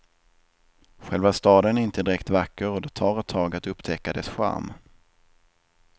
Själva staden är inte direkt vacker och det tar ett tag att upptäcka dess charm.